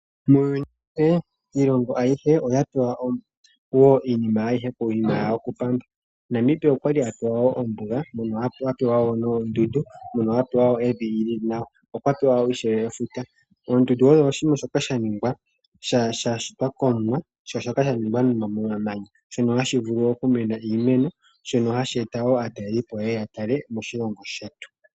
Muuyuni iilongo ayihe oyapewa iinima yawo kupamba. Namibia okwali apewa ombuga mono apewa woo noondundu ,mono apewa woo evi lili nawa, okwapewa ishewe efuta. Oondundu odho oshinima shoka shashitwa komuwa ,shono shashitwa momamanya. Ohashi vulu okumena iimeno ,shono hashi eta aatalelipo yeye yatale moshilongo shetu.